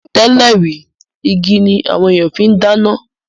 Tẹ́lẹ̀ rí, igi ni àwọn ènìyàn fi ń dáná